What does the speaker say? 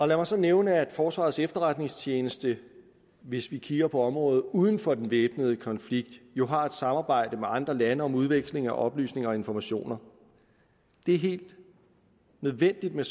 lad mig så nævne at forsvarets efterretningstjeneste hvis vi kigger på området uden for den væbnede konflikt jo har et samarbejde med andre lande om udveksling af oplysninger og informationer det er helt nødvendigt med